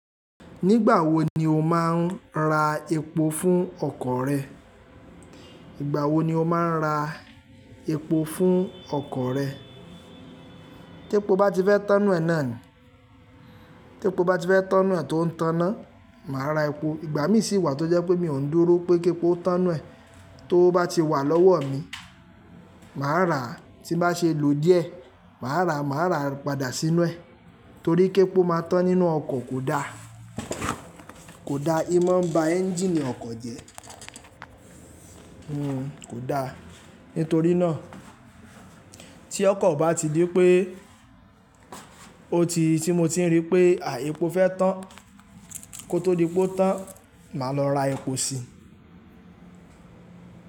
Nígbà wo ni o máa ń ra epo fún ọkọ̀ rẹ? Nígbà wo ni o máa ń ra epo fún ọkọ̀ rẹ? Tépo bá ti fẹ́ tánnu ẹ̀ náà ni. Tepo bá ti fẹ́ tán nu ẹ̀ tó ń tanná, màá ra epo. Ìgbà mí sì wà tó jẹ́ pé mi ò ń dúró pé képo tán nu e tówo bá ti wà lọ́wọ́ mi, màá rà á. Tín bá ṣe lò díẹ̀, màá rà á, màá rà á padà sínú ẹ̀. Torí képo máa tán nínú ọkọ̀ kò da. Kò da, imọ̀ ń ba ẹ́njìnì ọkọ̀ jẹ́. Hmm kò da. Nítorí náà, tí ọkọ̀ bá ti dí pé ó ti, tí mo ti rí pé àí epo fẹ́ tán, kó tó di pé ó tán, màá lọ ra epo si.